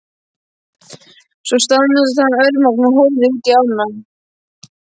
Svo staðnæmdist hann örmagna og horfði útí ána.